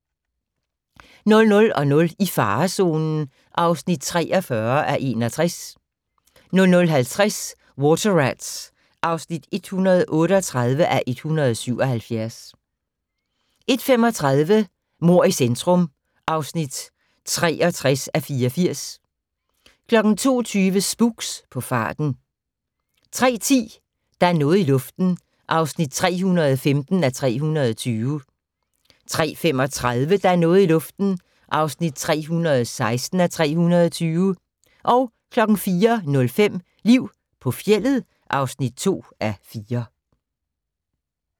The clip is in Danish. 00:00: I farezonen (43:61) 00:50: Water Rats (138:177) 01:35: Mord i centrum (63:84) 02:20: Spooks: På farten 03:10: Der er noget i luften (315:320) 03:35: Der er noget i luften (316:320) 04:05: Liv på fjeldet (2:4)